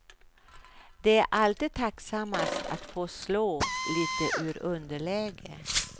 Det är alltid tacksammast, att få slå lite ur underläge.